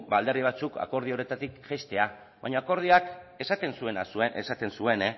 alderdi batzuk akordio horretatik jaistea baina akordioak esaten zuena esaten zuen